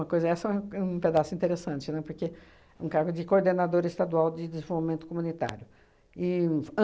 coisa essa é é um pedaço interessante, né, porque um cargo de coordenadora estadual de desenvolvimento comunitário. E f